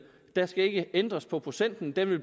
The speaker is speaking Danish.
der skal ikke ændres på procenten den vil